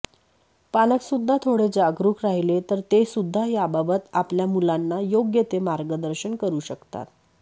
पालकसुध्दा थोडे जागरूक राहिले तर तेसुध्दा याबाबत आपल्या मुलांना योग्य ते मार्गदर्शन करू शकतात